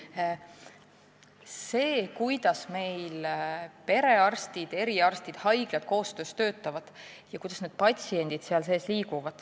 See on tõesti oluline, kuidas meil perearstid, eriarstid ja haiglad koos töötavad ning kuidas patsiendid selle kõige sees liiguvad.